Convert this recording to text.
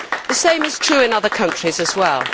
The same is true in other countries as well.